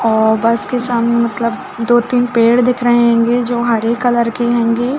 और बस के सामने मतलब दो-तीन पेड़ दिख रहै होंगे जो हरे कलर हंगे।